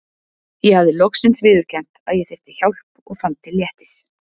Ég hafði loksins viðurkennt að ég þyrfti hjálp og fann til léttis.